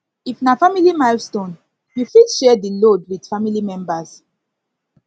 if na family milestone you fit share di load with family members